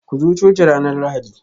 Ku zo coci ranar Lahadi